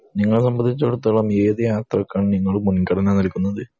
നിങ്ങളെ സംബന്ധിച്ചടുത്തോളം ഏത് യാത്രക്കാണ് നിങ്ങൾ മുൻഖണന നൽകുന്നത്